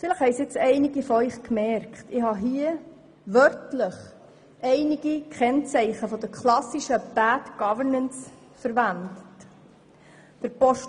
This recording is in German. Vielleicht haben einige von Ihnen bemerkt, dass ich dabei Merkmale der klassischen Bad Governance wörtlich verwendet habe.